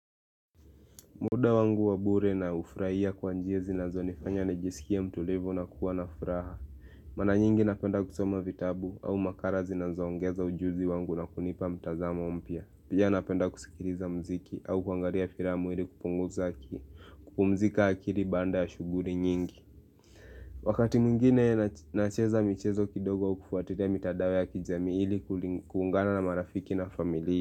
Muda wangu wabure na ufurahia kwa njia zinazo nifanya na jisikie mtulivu na kuwa na furaha Mara nyingi napenda kusoma vitabu au makara zinazoongeza ujuzi wangu na kunipa mtazamo mpya. Pia napenda kusikiliza mziki au kuangalia filamu ili kupunguza kupumzika akili baada ya shughuli nyingi Wakati mwngine nacheza michezo kidogo kufuatilia mitadao ya kijami ili kuungana na marafiki na familia.